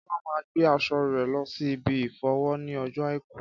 Kọ́lá máa ń gbé aṣọ rè lọ ṣí ibi ìfọṣọ ní ojó àìkú